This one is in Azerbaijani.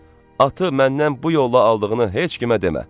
Atı məndən bu yolla aldığını heç kimə demə.